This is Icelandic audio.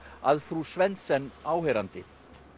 að frú Svendsen áheyrandi